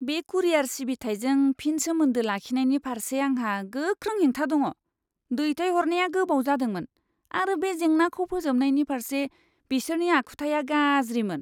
बे कुरियार सिबिथाइजों फिन सोमोन्दो लाखिनायनि फारसे आंहा गोख्रों हेंथा दङ। दैथायहरनाया गोबाव जादोंमोन, आरो बे जेंनाखौ फोजोबनायनि फारसे बिसोरनि आखुथाया गाज्रिमोन!